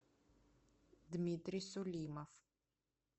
дмитрий сулимов